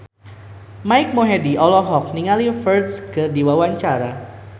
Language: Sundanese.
Mike Mohede olohok ningali Ferdge keur diwawancara